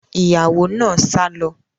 Ìyàwó náà sá lọ